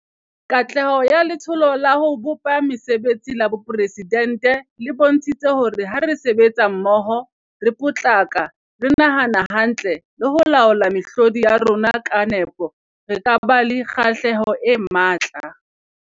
Katleho ya Letsholo la ho bopa Mesebetsi la Boporesi dente le bontshitse hore ha re sebetsa mmoho, re potlaka, re nahana hantle le ho laola mehlodi ya rona ka nepo, re ka ba le kgahlamelo e matla.